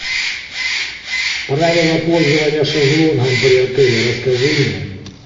правила пользования шезлонгом при отеле расскажи мне